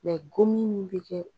gomin min bi kɛ